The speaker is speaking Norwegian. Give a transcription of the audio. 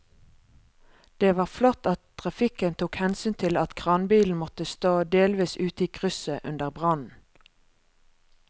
Det var flott at trafikken tok hensyn til at kranbilen måtte stå delvis ute i krysset under brannen.